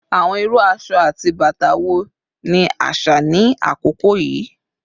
Awọn iru aṣọ ati bata wo ni aṣa ni akoko yii?